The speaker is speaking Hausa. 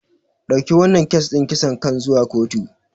Dauki wannan kes din kisan kan zuwa kotu.